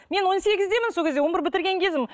мен он сегіздемін сол кезде он бір бітірген кезім